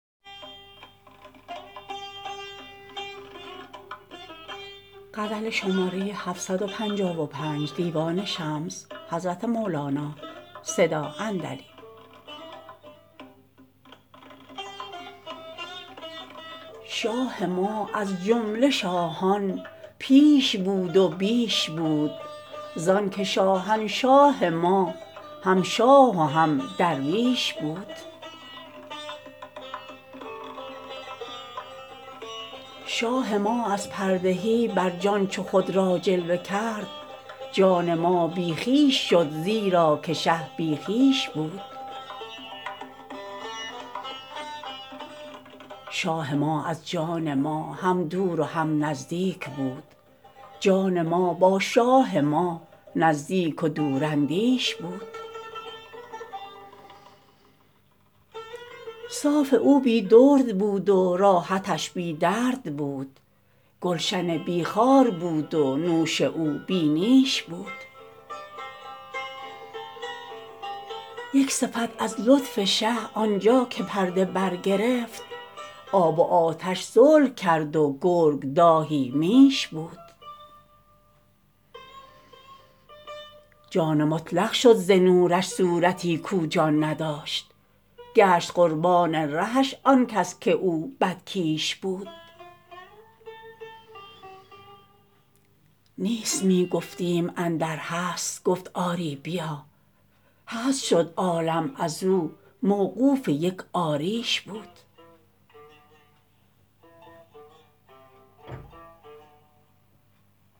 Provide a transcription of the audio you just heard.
شاه ما از جمله شاهان پیش بود و بیش بود زانک شاهنشاه ما هم شاه و هم درویش بود شاه ما از پرده برجان چو خود را جلوه کرد جان ما بی خویش شد زیرا که شه بی خویش بود شاه ما از جان ما هم دور و هم نزدیک بود جان ما با شاه ما نزدیک و دوراندیش بود صاف او بی درد بود و راحتش بی درد بود گلشن بی خار بود و نوش او بی نیش بود یک صفت از لطف شه آن جا که پرده برگرفت آب و آتش صلح کرد و گرگ دایه میش بود جان مطلق شد ز نورش صورتی کو جان نداشت گشت قربان رهش آن کس که او بدکیش بود نیست می گفتیم اندر هست گفت آری بیا هست شد عالم از او موقوف یک آریش بود